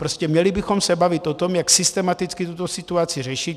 Prostě měli bychom se bavit o tom, jak systematicky tuto situaci řešit.